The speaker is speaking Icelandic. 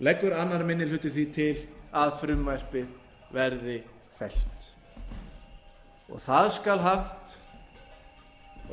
leggur annar minni hluti því til að frumvarpið verði fellt það skal haft